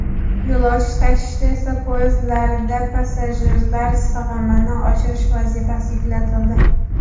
Yo‘lovchi tashishda esa poyezdlarda passajirlar sig‘imini oshirish vazifasi yuklatildi.